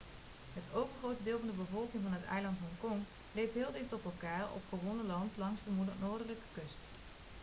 het overgrote deel van de bevolking van het eiland hongkong leeft heel dicht op elkaar op gewonnen land langs de noordelijke kust